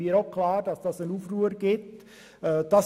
Mir ist auch klar, dass dies zu einem Aufruhr führen würde.